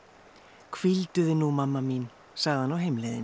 hvíldu þig nú mamma mín sagði hann á heimleiðinni